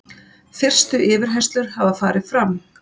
Fyrstu yfirheyrslur hafa farið fram.